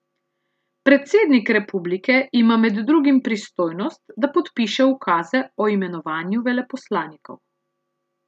Predsednik republike ima med drugim pristojnost, da podpiše ukaze o imenovanju veleposlanikov.